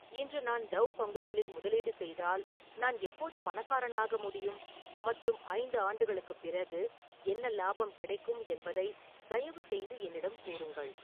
இன்று நான் டவ் பங்குகளில் முதலீடு செய்தால் நான் எப்போது பணக்காரனாக முடியும் மற்றும் ஐந்து ஆண்டுகளுக்குப் பிறகு என்ன லாபம் கிடைக்கும் என்பதை தயவுசெய்து என்னிடம் கூறுங்கள்